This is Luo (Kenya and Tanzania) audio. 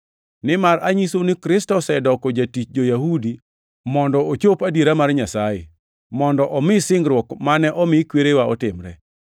Nimar anyisou ni Kristo osedoko jatich jo-Yahudi mondo ochop adiera mar Nyasaye, mondo omi singruok mane omi kwerewa otimre,